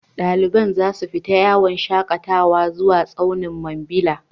Dalibai za su tafi yawon shakatawa zuwa tsaunin Mambila.